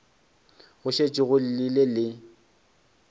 go šetše go llile le